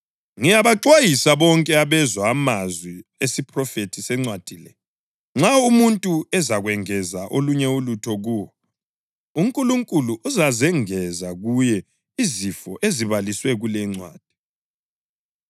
Ngiyabaxwayisa bonke abezwa amazwi esiphrofethi sencwadi le: Nxa umuntu ezakwengeza olunye ulutho kuwo, uNkulunkulu uzazengeza kuye izifo ezibaliswe kule incwadi.